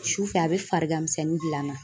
Sufɛ a bɛ farigan misɛnnin bil'an na.